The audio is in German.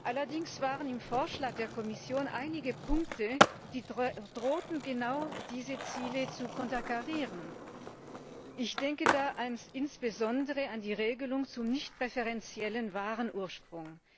Allerdings waren im Vorschlag der Kommission einige Punkte, die drohten, genau diese Ziele zu konterkarieren. Ich denke da insbesondere an die Regelung zum nichtpräferenziellen Warenursprung.